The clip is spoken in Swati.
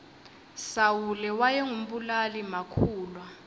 sawule wayengu mbulali makhulwa